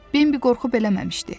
Bimbi qorxub eləməmişdi.